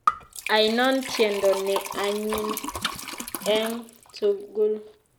Ainon tyendo ne anyin eng' tugul